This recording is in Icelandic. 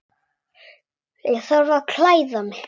Ég þarf að klæða mig.